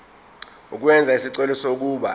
ukwenza isicelo sokuba